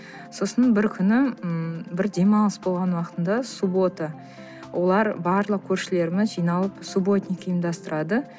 сосын бір күні ммм бір демалыс болған уақытында суббота олар барлық көршілеріміз жиналып субботник ұйымдастырады